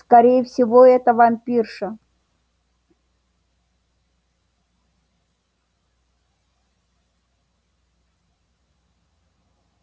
скорее всего это вампирша